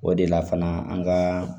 O de la fana an ka